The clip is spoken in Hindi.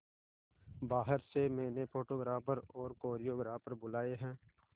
बाहर से मैंने फोटोग्राफर और कोरियोग्राफर बुलाये है